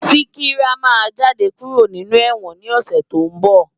Sikira má jàdé kúró ninú èwòn ni òsè tó n bò